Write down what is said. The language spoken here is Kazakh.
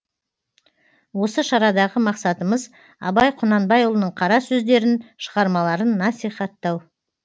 осы шарадағы мақсатымыз абай құнанбайұлының қара сөздерін шығармаларын насихаттау